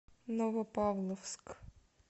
новопавловск